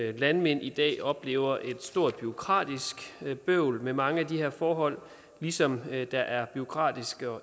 at landmænd i dag oplever et stort bureaukratisk bøvl med mange af de her forhold ligesom der er bureaukratiske